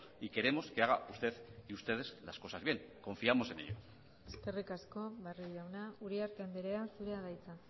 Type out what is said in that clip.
y queremos que haga usted y ustedes las cosas bien confiamos en ello eskerrik asko barrio jauna uriarte andrea zurea da hitza